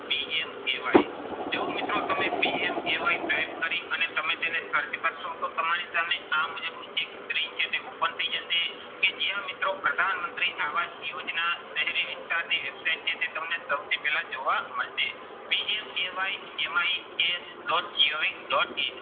છે તે તમને સૌથી પહેલા જોવા મળશે. MI dash dot gov dot in